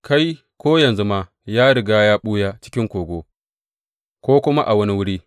Kai, ko yanzu ma, ya riga ya ɓuya cikin kogo ko kuma a wani wuri.